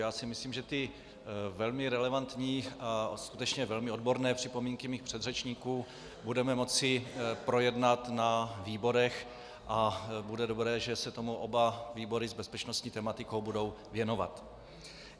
Já si myslím, že ty velmi relevantní a skutečně velmi odborné připomínky mých předřečníků budeme moci projednat na výborech a bude dobré, že se tomu oba výbory s bezpečnostní tematikou budou věnovat.